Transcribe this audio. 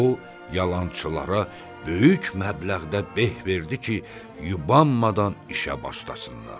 O yalançılara böyük məbləğdə beh verdi ki, yubanmadan işə başlasınlar.